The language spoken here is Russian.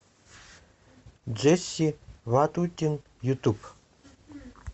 джесси ватутин ютуб